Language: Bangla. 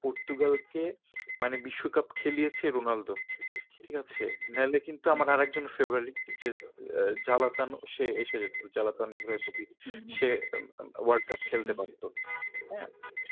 পর্তুগালকে, মানে বিশ্ব কাপ খেলিয়েছে রোনালদো ঠিক আছে না হলে আমার আর একজন favourite যে জ্বালাতন সে এসেছে জ্লাতান ইব্রাহিমোভিচ সে world cup খেলতে পারতো। হ্যাঁ